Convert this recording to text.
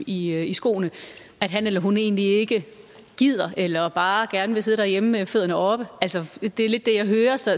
i i skoene at han eller hun egentlig ikke gider eller bare gerne vil sidde derhjemme med fødderne oppe det er lidt det jeg hører så